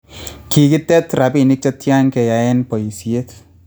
Kigitet rapinik chetyan keyaen boishet?